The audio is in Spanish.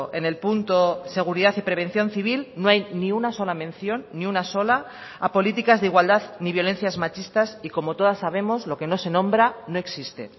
en el punto seguridad y prevención civil no hay ni una sola mención ni una sola a políticas de igualdad ni violencias machistas y como todas sabemos lo que no se nombra no existe